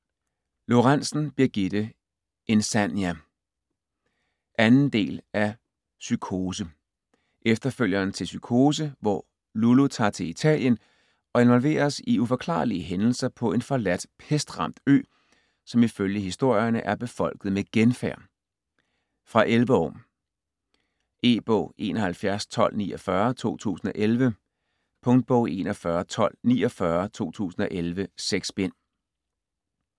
Lorentzen, Birgitte: Insania 2. del af Cykose. Efterfølgeren til Cykose, hvor Lulu tager til Italien og involveres i uforklarlige hændelser på en forladt, pestramt ø, som ifølge historierne er befolket med genfærd. Fra 11 år. E-bog 711249 2011. Punktbog 411249 2011. 6 bind.